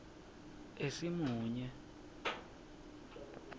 esimunye